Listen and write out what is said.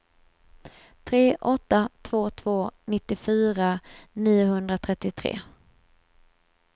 tre åtta två två nittiofyra niohundratrettiotre